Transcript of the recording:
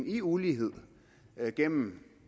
i uligheden gennem